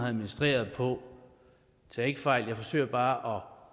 administreret på tag ikke fejl af det jeg forsøger bare